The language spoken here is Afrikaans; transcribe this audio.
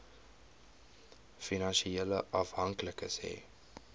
finansiële afhanklikes hê